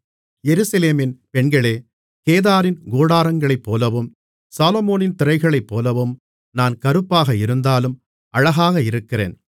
எருசலேமின் பெண்களே கேதாரின் கூடாரங்களைப்போலவும் சாலொமோனின் திரைகளைப்போலவும் நான் கறுப்பாக இருந்தாலும் அழகாக இருக்கிறேன்